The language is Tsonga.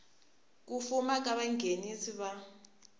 ku fuma ka vanghenisi va